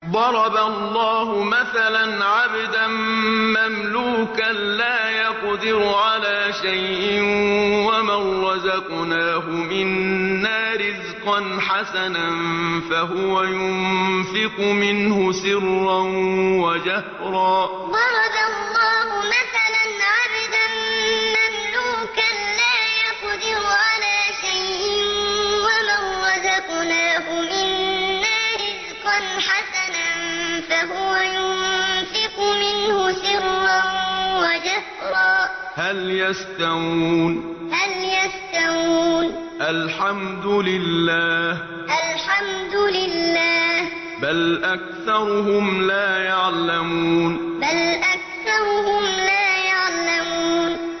۞ ضَرَبَ اللَّهُ مَثَلًا عَبْدًا مَّمْلُوكًا لَّا يَقْدِرُ عَلَىٰ شَيْءٍ وَمَن رَّزَقْنَاهُ مِنَّا رِزْقًا حَسَنًا فَهُوَ يُنفِقُ مِنْهُ سِرًّا وَجَهْرًا ۖ هَلْ يَسْتَوُونَ ۚ الْحَمْدُ لِلَّهِ ۚ بَلْ أَكْثَرُهُمْ لَا يَعْلَمُونَ ۞ ضَرَبَ اللَّهُ مَثَلًا عَبْدًا مَّمْلُوكًا لَّا يَقْدِرُ عَلَىٰ شَيْءٍ وَمَن رَّزَقْنَاهُ مِنَّا رِزْقًا حَسَنًا فَهُوَ يُنفِقُ مِنْهُ سِرًّا وَجَهْرًا ۖ هَلْ يَسْتَوُونَ ۚ الْحَمْدُ لِلَّهِ ۚ بَلْ أَكْثَرُهُمْ لَا يَعْلَمُونَ